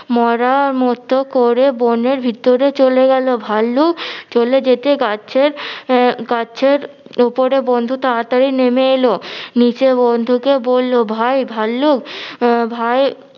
মরা মত করে বনের ভিতরে চলে গেলো। ভাল্লুক চলে যেতে গাছের আহ গাছের ওপরের বন্ধু তাড়াতাড়ি নেমে এলো নিচে বন্ধুকে বললো ভাই ভাল্লুক আহ ভাই